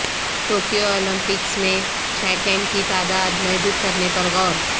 Tokyo Olympics میں شائقین کی تعداد محدود کرنے پر غور